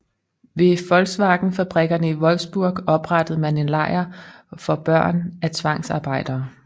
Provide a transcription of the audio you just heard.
Ved VW fabrikkerne i Wolfsburg oprettede man en lejr for børn af tvangsarbejdere